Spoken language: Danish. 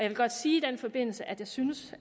vil godt sige i den forbindelse at jeg synes